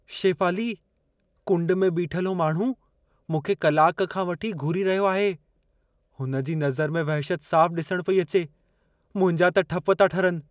शेफ़ाली, कुंड में बीठल हू माण्हू मूंखे कलाक खां वठी घूरी रहियो आहे। हुनजी नज़र में, वहशत साफ़ु ॾिसण पेई अचे। मुंहिंजा त ठप था ठरनि।